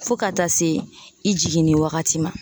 Fo ka taa se i jiginni wagati ma